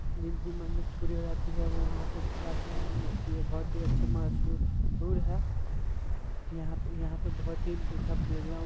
जिनकी मन्नत पूरी हो जाती है वो वहां पे फिर आते है ये बहुत ही अच्छा मशहूर भी है यहाँ पे यहाँ पे बहुत ही अच्छा प्ले ग्राउंड --